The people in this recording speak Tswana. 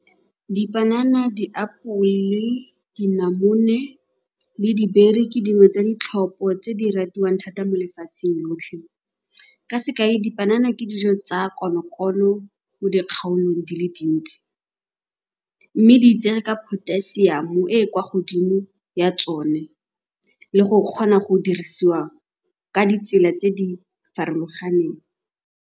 Dipanana, diapole, dinamone le ke dingwe tsa ditlhopho tse di ratiwang thata mo lefatsheng lotlhe. Ka sekai, dipanana ke dijo tsa konokono mo dikgaolong di le dintsi mme di itsege ka potassium-o e e kwa godimo ya tsone le go kgona go dirisiwa ka ditsela tse di farologaneng.